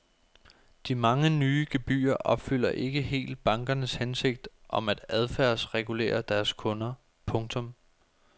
De mange nye gebyrer opfylder ikke helt bankernes hensigt om at adfærdsregulere deres kunder. punktum